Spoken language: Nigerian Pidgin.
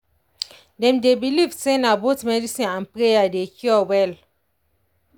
dem dey believe say na both medicine and prayer dey cure well.